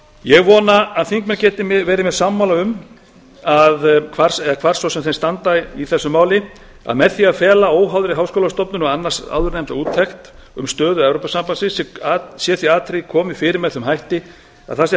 ég vona að þingmenn geti verið mér sammála um hvar svo sem þeir standa í þessu máli að með því að fela óháðri háskólastofnun annars áður nefnda úttekt um stöðu evrópusambandsins sé því atriði komið fyrir með þeim hætti að það sé